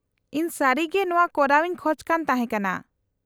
-ᱤᱧ ᱥᱟᱹᱨᱤᱜᱮ ᱱᱚᱶᱟ ᱠᱚᱨᱟᱣ ᱤᱧ ᱠᱷᱚᱡ ᱠᱟᱱ ᱛᱟᱦᱮᱸ ᱠᱟᱱᱟ ᱾